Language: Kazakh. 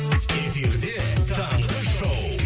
эфирде таңғы шоу